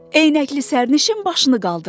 Eynəkli sərnişin başını qaldırdı.